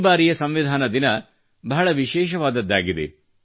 ಈ ಬಾರಿಯ ಸಂವಿಧಾನ ದಿನ ಬಹಳ ವಿಶೇಷವಾದದ್ದಾಗಿದೆ